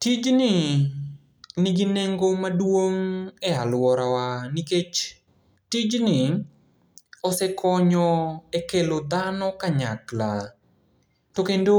Tijni nigi nengo maduong' e aluorawa, nikech tijni osekonyo ekelo dhano kanyakla. To kendo